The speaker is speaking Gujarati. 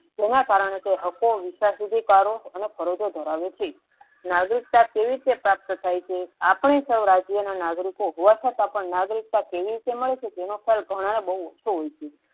તેના કારણે તે હકો વિશા સુધી તારો અને ફરજો ધરાવે છે નાગરિકતા કેવી તે પ્રાપ્ત થા છે આપણે સૌ રાજ્યો ના નાગરીકો હોવા છતાં નાગરિકતા કેવી રીતે મળે છે તેનુ ફર્ક ઘણા ને બહુ ઓછો હોય છે.